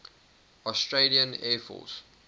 australian air force